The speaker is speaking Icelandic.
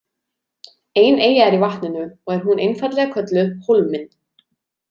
Ein eyja er í vatninu og er hún einfaldlega kölluð „Hólminn“.